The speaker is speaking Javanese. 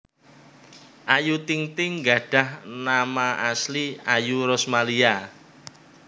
Ayu Ting Ting gadhah nama asli Ayu Rosmalia